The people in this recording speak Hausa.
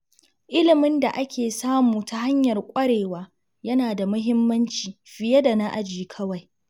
Ilimin da ake samu ta hanyar kwarewa yana da muhimmanci fiye da na aji kawai.